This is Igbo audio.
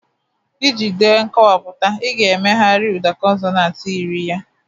Iji dee nkọwapụta, ị ga-emegharị ụda consonant yiri ya